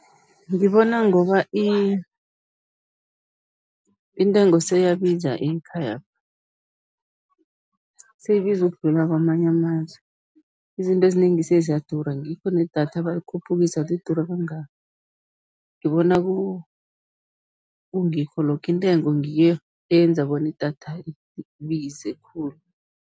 Ngibona ngoba intengo seyiyabiza ekhaya, seyibiza ukudlula kwamanye amazwe, izinto ezinengi seziyadura, ngikho nedatha balikhuphukisa, lidura kangaka. Ngibona kungikho lokho, intengo ngiyo eyenza, bona idatha ibize khulu.